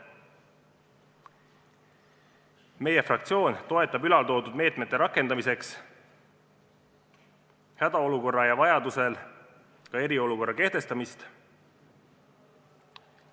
Meie fraktsioon toetab nende meetmete rakendamiseks hädaolukorra ja vajadusel ka eriolukorra kehtestamist.